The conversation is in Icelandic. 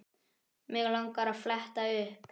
Mig langar að fletta upp.